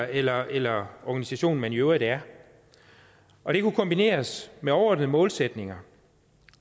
eller eller organisation man i øvrigt er og det kunne kombineres med overordnede målsætninger